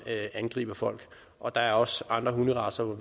angriber folk og der er også andre hunderacer